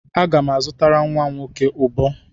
Aga m azụtara nwa nwoke ụbọ.